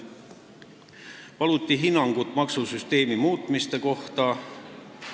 Paluti hinnangut maksusüsteemi muutmiste kohta.